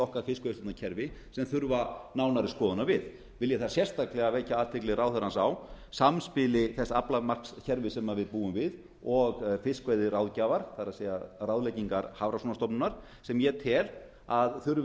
okkar fiskveiðistjórnarkerfi sem þurfa nánari skoðunar við vil ég þar sérstaklega vekja athygli ráðherrans á samspili þess aflamarkskerfis sem við búum við og fiskveiðiráðgjafar það er ráðlegginga hafrannsóknastofnunar sem ég tel að þurfi